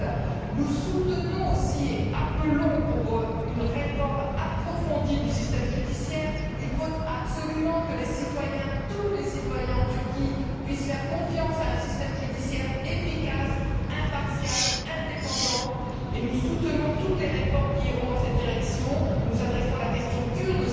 7. Nous soutenons aussi et demandons une réforme approfondie du système judiciaire il faut absolument que les citoyens tous les citoyens en Turquie puissent faire confiance à un système judiciaire efficace, impartial, indépendant et nous soutenons toutes les réformes qui iront dans cette direction. Nous abordons également la question kurde